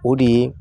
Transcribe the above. O de ye